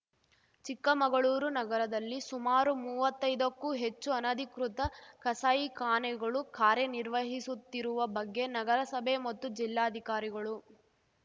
ಚಿಕ್ಕಮಗಳೂರು ನಗರದಲ್ಲಿ ಸುಮಾರು ಮೂವತ್ತೈದಕ್ಕೂ ಹೆಚ್ಚು ಅನಧಿಕೃತ ಕಸಾಯಿಖಾನೆಗಳು ಕಾರ್ಯನಿರ್ವಹಿಸುತ್ತಿರುವ ಬಗ್ಗೆ ನಗರಸಭೆ ಮತ್ತು ಜಿಲ್ಲಾಧಿಕಾರಿಗಳು